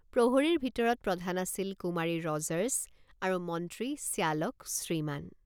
প্ৰহৰীৰ ভিতৰত প্ৰধান আছিল কুমাৰী ৰজাৰ্ছ আৰু মন্ত্ৰী শ্যালক শ্ৰীমান।